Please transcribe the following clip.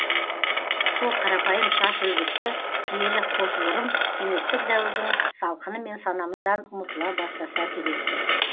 сол қарапайым шаш үлгісі киелі қос бұрым кеңестік дәуірдің салқынымен санамыздан ұмытыла бастаса керек ті